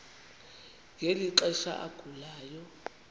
ngeli xesha agulayo